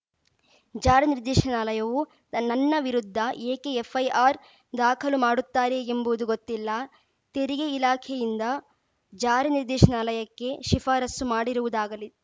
ಜಾರಿ ನಿರ್ದೇಶನಾಲಯವು ನನ್ನ ವಿರುದ್ಧ ಏಕೆ ಎಫ್‌ಐಆರ್‌ ದಾಖಲು ಮಾಡುತ್ತಾರೆ ಎಂಬುದು ಗೊತ್ತಿಲ್ಲ ತೆರಿಗೆ ಇಲಾಖೆಯಿಂದ ಜಾರಿ ನಿರ್ದೇಶನಾಲಯಕ್ಕೆ ಶಿಫಾರಸು ಮಾಡಿರುವುದಾಗಲಿ